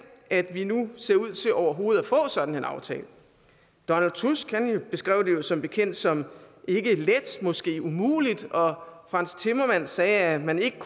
at vi nu ser ud til overhovedet at få sådan en aftale donald tusk beskrev det som bekendt som ikke let måske umuligt og frans timmermann sagde at man ikke